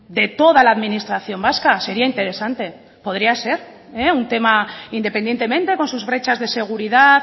de toda la administración vasca sería interesante podría ser un tema independientemente con sus brechas de seguridad